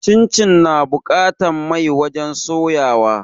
Cincin na buƙatan mai wajen soya wa